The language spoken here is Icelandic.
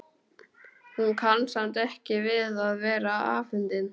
Hún kann samt ekki við að vera afundin.